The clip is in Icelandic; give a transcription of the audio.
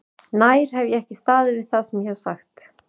Nær hef ég ekki staðið við það sem ég hef sagt?